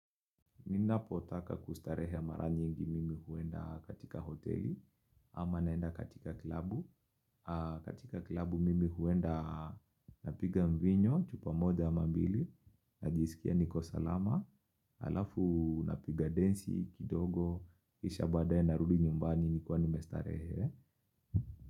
Ninapo taka kustarehe mara nyingi mimi huenda katika hoteli ama naenda katika klabu. Katika klabu mimi huenda napiga mvinyo, chupa moja ama mbili, najisikia niko salama. Alafu napiga densi, kidogo, kisha baadaye narudi nyumbani, nikiwa nimestarehe.